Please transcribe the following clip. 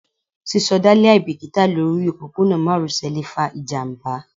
sisoda liabikita Lori opopona maròsè le fa ijamba